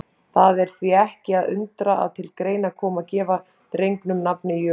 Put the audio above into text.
Það er því ekki að undra að til greina kom að gefa drengnum nafnið Jökull.